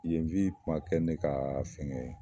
Yen wi kuma kɛ ne ka fɛngɛ ye